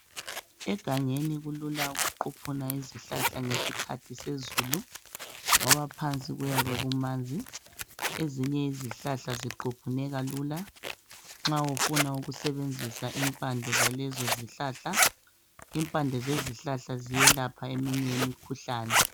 Egangeni kulula ukuquphuna izihlahla ngesikhathi sezulu, ngoba phansi kuyabe kumanzi. Ezinye izihlahla ziquphuneka lula nxa ufuna ukusebenzisa impande zalezo zihlahla. Impande zezihlahla ziyelapha eminye imikhuhlane.